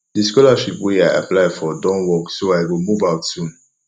the scholarship wey i apply for don work so i go move out soon